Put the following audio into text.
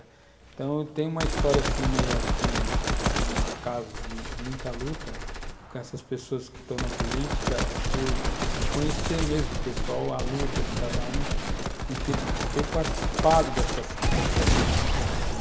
Então, tem uma história assim, meio que no acaso de muita luta, com essas pessoas que estão na política, por conhecer mesmo o pessoal, a luta de cada um, e ter participado dessas mudanças.